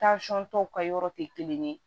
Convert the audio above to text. tɔw ka yɔrɔ tɛ kelen ye